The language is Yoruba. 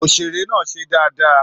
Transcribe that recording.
Òṣèré náà ṣe dáadáa